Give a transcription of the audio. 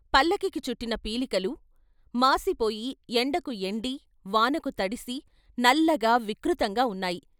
పల్లకీకి చుట్టిన పీలికలు మాసిపోయి ఎండకు ఎండి, వానకు తడిసి నల్లగా వికృతంగా వున్నాయి.